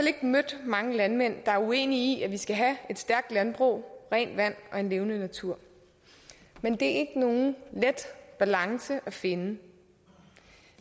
ikke mødt mange landmænd der er uenige i at vi skal have et stærkt landbrug rent vand og en levende natur men det er ikke nogen let balance at finde